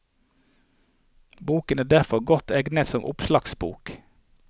Boken er derfor godt egnet som oppslagsbok.